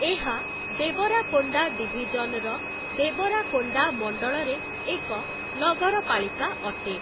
ଏହା ଦେବରାକୋଣ୍ଡା ଡିଭିଜନ୍‌ର ଦେବରାକୋଣ୍ଡା ମଣ୍ଡଳରେ ଏକ ନଗରପାଳିକା ଅଟେ ।